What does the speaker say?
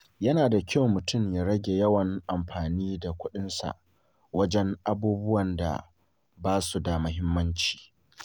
Yana da kyau mutum ya rage yawan amfani da kuɗinsa wajen abubuwan da ba su da muhimmanci.